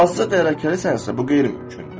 Azca dərrakəlisənsə bu qeyri-mümkündür.